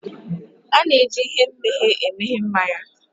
A na-eji ihe mmeghe emeghe mmanya